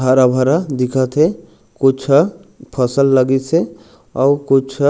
हरा-भरा दिखत हे कुछ फसल लगीस हे अउ कुछ--